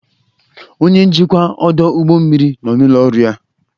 Onye njikwa ọdụ ụgbọ mmiri nọ n'ụlọ ọrụ ya.